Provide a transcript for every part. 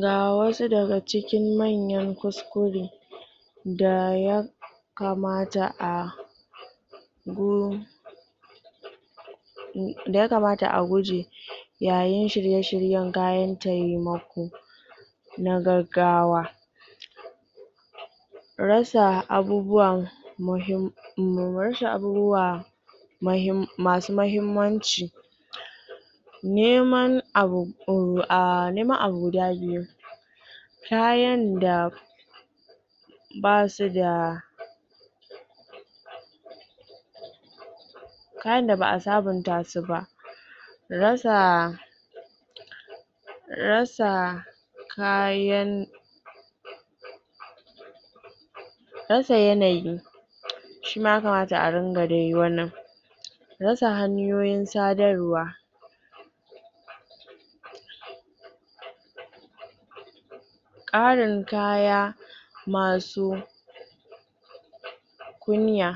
Ga wasu daga cikin manyan kuskure da ya kamata a da yakamata a guje yayin shirye-shiryen kayan taimako na gaggawa rasa abubuwa muhim, rasa abubuwa masu mahimmanci neman abu ah, neman abu guda biyu kayan da basu da kayan da ba'a sabun ta su ba rasa rasa kayan rasa yanayi shi ma yakamata a ringa dai wannan rasa hanyoyin sadarwa ƙarin kaya masu kunya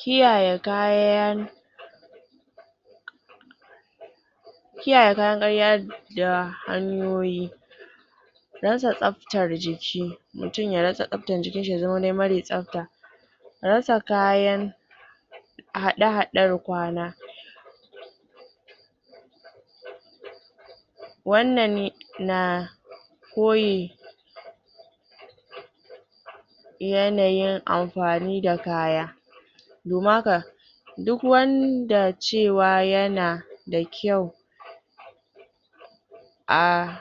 kiyaye kayan kiyaye kayan ƙarya da hanyoyi rasa tsabtar jiki, mutun ya rasa tsabtar jikin shi ya zama dai mare tsabta rasa kayan haɗe-haɗen kwana wannan na koyi yanayin amfani da kaya domin haka duk wanda cewa yana da kyau a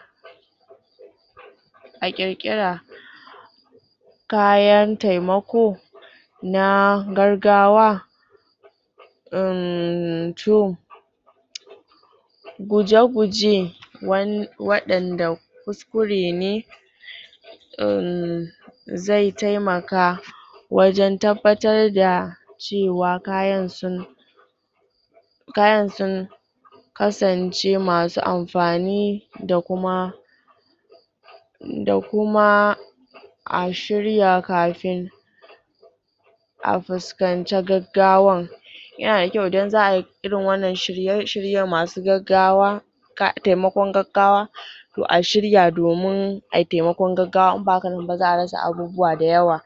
a ƙirƙira kayan taimako na gaggawa uhmm, to guje-guje waɗanda kuskure ne umm, zai taimaka wajen tabbatar da cewa kayan sun kayan su kasance masu amfani da kuma da kuma a shirya kafin a fuskanci gaggawan yana da kyau idan za'a yi irin wannan shirye-shiryen masu gaggawa taimakon gaggawa to a shirya domin ai taimakon gaggawa, in ba haka nan ba za'a rasa abubuwa da yawa.